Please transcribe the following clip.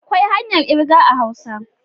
Akwai hanyar kirga a hausa.